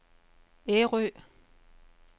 Ærø